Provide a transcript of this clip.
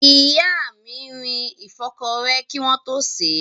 Ìyá mi rin ìfọ́kọrẹ́ kí wọ́n tó sèé.